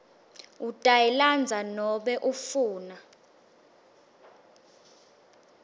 utayilandza nobe ufuna